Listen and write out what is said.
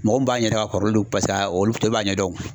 Mɔgɔ min b'a ɲɛdɔn a kɔrɔlen don paseke a olu bɛɛ b'a ɲɛdɔn o